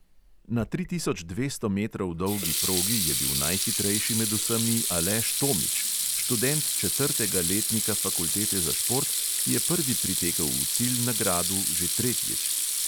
Na tri tisoč dvesto metrov dolgi progi je bil najhitrejši med vsemi aleš tomič, študent četrtega letnika fakultete za šport, ki je prvi pritekel v cilj na gradu že tretjič.